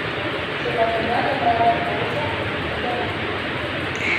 Če pa premaga mravlja polža, bo huda mokrina.